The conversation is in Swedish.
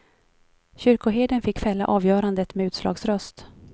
Kyrkoherden fick fälla avgörandet med utslagsröst.